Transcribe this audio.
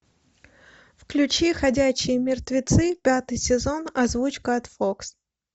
включи ходячие мертвецы пятый сезон озвучка от фокс